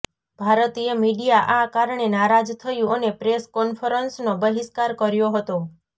ભારતીય મીડિયા આ કારણે નારાજ થયું અને પ્રેસ કોન્ફરન્સનો બહિષ્કાર કર્યો હતો